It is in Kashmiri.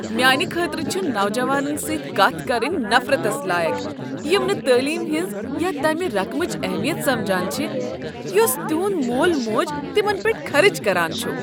میانہ خٲطرٕ چھُ نوجوانن سۭتۍ کتھ کرٕنۍ نفرتس لایق یم نہٕ تعلیمہِ ہنز یا تمہِ رقمٕچ اہمیت سمجان چھِ یُس تِہُند مول موج تِمن پیٹھ خرچان چھُ۔